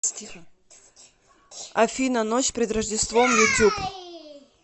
афина ночь перед рождеством ютюб